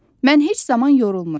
Mən heç zaman yorulmuram.